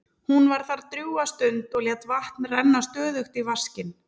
Hún var þar drjúga stund og lét vatn renna stöðugt í vaskinn.